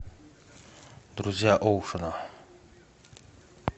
друзья оушена